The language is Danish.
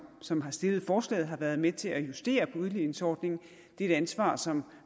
som har stillet forslaget har været med til at justere på udligningsordningen det er et ansvar som